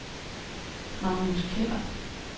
Magnus Keller